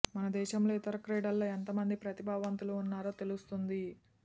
మన దేశంలో ఇతర క్రీడల్లో ఎంత మంది ప్రతిభావంతులు వున్నారో తెలుస్తుంది